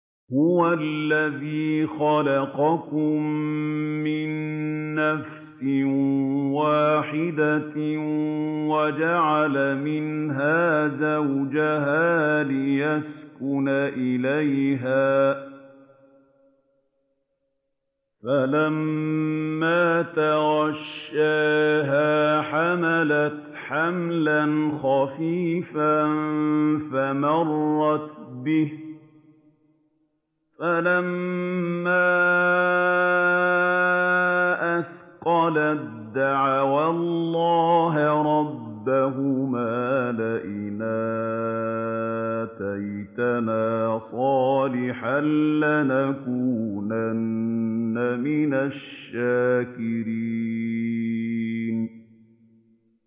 ۞ هُوَ الَّذِي خَلَقَكُم مِّن نَّفْسٍ وَاحِدَةٍ وَجَعَلَ مِنْهَا زَوْجَهَا لِيَسْكُنَ إِلَيْهَا ۖ فَلَمَّا تَغَشَّاهَا حَمَلَتْ حَمْلًا خَفِيفًا فَمَرَّتْ بِهِ ۖ فَلَمَّا أَثْقَلَت دَّعَوَا اللَّهَ رَبَّهُمَا لَئِنْ آتَيْتَنَا صَالِحًا لَّنَكُونَنَّ مِنَ الشَّاكِرِينَ